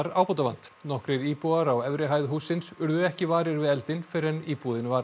ábótavant nokkrir íbúar á efri hæð hússins urðu ekki varir við eldinn fyrr en íbúðin var